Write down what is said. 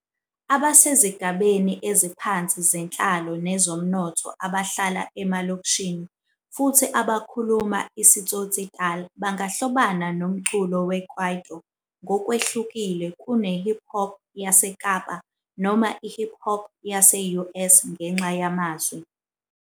abasezigabeni eziphansi zenhlalo nezomnotho abahlala emalokishini futhi abakhuluma isiTsotsitaal bangahlobana nomculo weKwaito ngokwehlukile kunokhip hop waseKapa noma I-hip hop yase-US ngenxa yamazwi.